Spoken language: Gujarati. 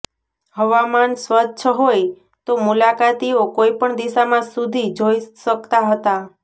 હવામાન સ્વચ્છ હોય તો મુલાકાતીઓ કોઇ પણ દિશામાં સુધી જોઇ શકતા હતા